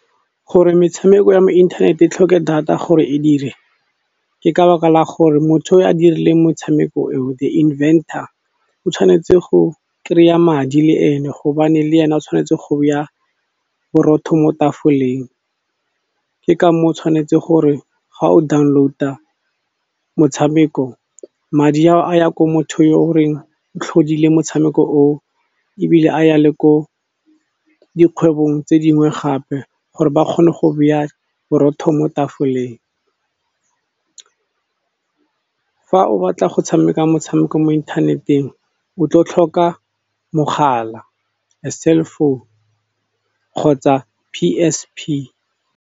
Gore metshameko ya mo internet e tlhoke data gore e dire, ke ka baka la gore motho o a dirileng motshameko eo, the inventor o tshwanetse go kry-a madi le e ne. Gobane le ene o tshwanetse go be ya borotho mo tafoleng, ke ka moo o tshwanetse gore ga o download-a motshameko madi ao a ya ko motho yo goreng o tlhodileng motshameko oo, ebile a ya le ko dikgwebong tse dingwe gape, gore ba kgone go beya borotho mo tafoleng. Fa o batla go tshameka motshameko mo inthaneteng o tlo tlhoka mogala a cell phone kgotsa P_S_P.